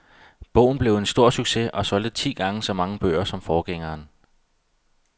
Bogen blev en stor succes og solgte ti gange så mange bøger som forgængerne.